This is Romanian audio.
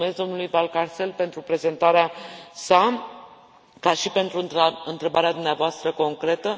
Mulțumesc domnului Valcárcel pentru prezentarea sa, ca și pentru întrebarea dumneavoastră concretă.